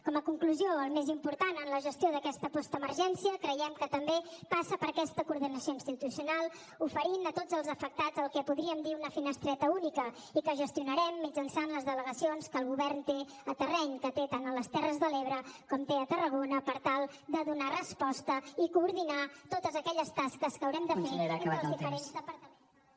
com a conclusió el més important en la gestió d’aquesta postemergència creiem que també passa per aquesta coordinació institucional oferint a tots els afectats el que podríem dir una finestreta única i que gestionarem mitjançant les delegacions que el govern té al terreny que té tant a les terres de l’ebre com té a tarragona per tal de donar resposta i coordinar totes aquelles tasques que haurem de fer entre els diferents departaments de la generalitat